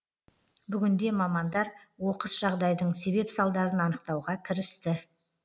бүгінде мамандар оқыс жағдайдың себеп салдарын анықтауға кірісті